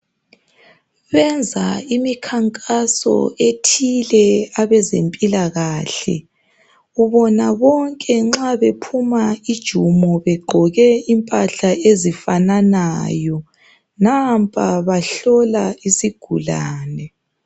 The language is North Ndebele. Benza imikhankaso ethile abezempilakahle ubona bonke nxa bephuma ijumo begqoke imphahla ezifananayo nampa bahlola isigulane.